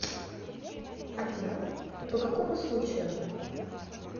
афина по какому случаю